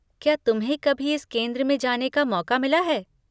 क्या तुम्हें कभी इस केंद्र में जाने का मौका मिला है?